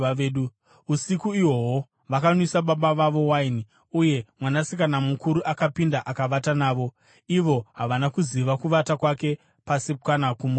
Usiku ihwohwo vakanwisa baba vavo waini, uye mwanasikana mukuru akapinda akavata navo. Ivo havana kuziva kuvata kwake pasi kana kumuka kwake.